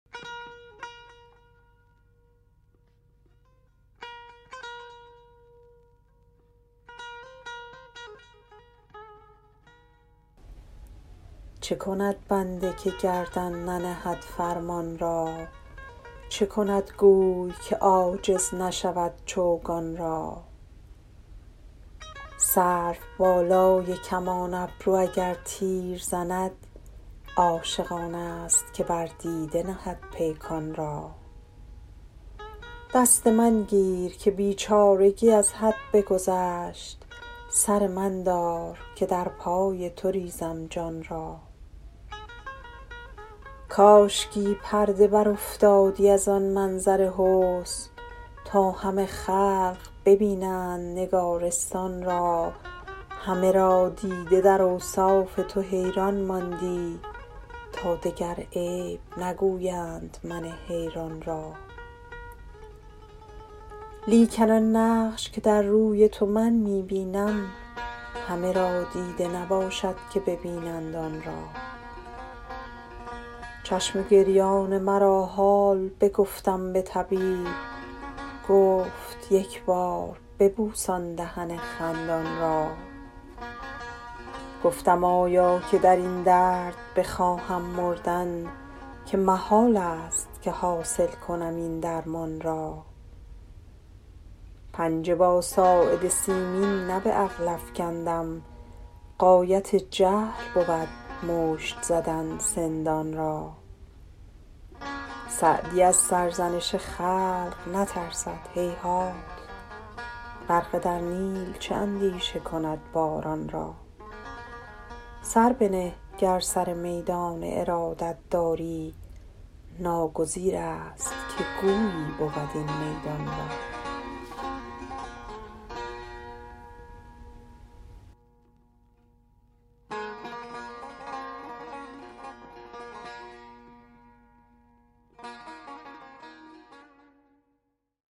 چه کند بنده که گردن ننهد فرمان را چه کند گوی که عاجز نشود چوگان را سروبالای کمان ابرو اگر تیر زند عاشق آنست که بر دیده نهد پیکان را دست من گیر که بیچارگی از حد بگذشت سر من دار که در پای تو ریزم جان را کاشکی پرده برافتادی از آن منظر حسن تا همه خلق ببینند نگارستان را همه را دیده در اوصاف تو حیران ماندی تا دگر عیب نگویند من حیران را لیکن آن نقش که در روی تو من می بینم همه را دیده نباشد که ببینند آن را چشم گریان مرا حال بگفتم به طبیب گفت یک بار ببوس آن دهن خندان را گفتم آیا که در این درد بخواهم مردن که محالست که حاصل کنم این درمان را پنجه با ساعد سیمین نه به عقل افکندم غایت جهل بود مشت زدن سندان را سعدی از سرزنش خلق نترسد هیهات غرقه در نیل چه اندیشه کند باران را سر بنه گر سر میدان ارادت داری ناگزیرست که گویی بود این میدان را